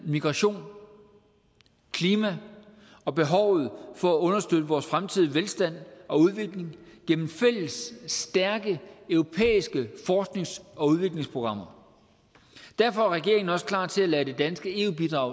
migration klima og behovet for at understøtte vores fremtidige velstand og udvikling gennem fælles stærke europæiske forsknings og udviklingsprogrammer derfor er regeringen også klar til at lade det danske eu bidrag